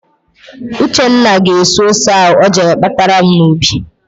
Uchenna ga-esu ose ahụ o jere kpatara m n'ubi.